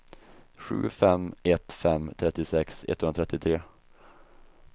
sju fem ett fem trettiosex etthundratrettiotre